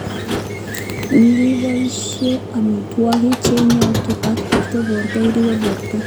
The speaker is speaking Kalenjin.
Ngiboisie amitwokik che iyonotin ak ibirte borto iribe borto